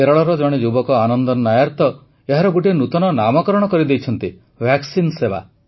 କେରଳର ଜଣେ ଯୁବକ ଆନନ୍ଦନ ନାୟର ତ ଏହାର ଗୋଟିଏ ନୂତନ ନାମକରଣ କରିଦେଇଛନ୍ତି ଭାକ୍ସିନ୍ ସେବା